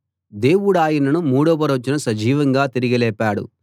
దేవుడాయనను మూడవ రోజున సజీవంగా తిరిగి లేపాడు